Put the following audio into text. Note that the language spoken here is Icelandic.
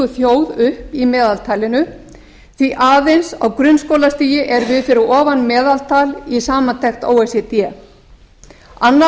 þjóð upp í meðaltalinu því aðeins á grunnskólastiginu erum við fyrir ofan meðaltal í samantekt o e c d annars